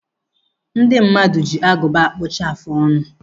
Ndị mmadụ ji agụba a kpụchapụ afụ ọnụ.